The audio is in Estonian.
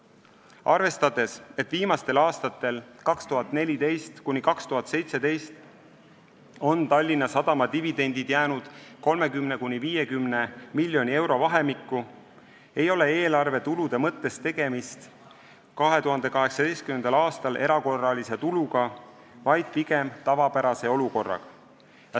Arvestades, et viimastel aastatel, 2014–2017, on Tallinna Sadama dividendid jäänud 30–50 miljoni euro vahemikku, ei ole eelarvetulude mõttes 2018. aastal tegemist erakorralise tuluga, vaid pigem tavapärase olukorraga.